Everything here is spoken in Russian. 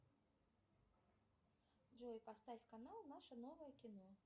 джой поставь канал наше новое кино